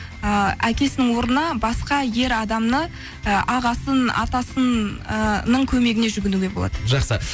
ііі әкесінің орнына басқа ер адамы і ағасын атасын ыыы көмегіне жүгінуге болады жақсы